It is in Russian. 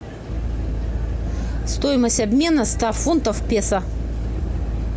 стоимость обмена ста фунтов песо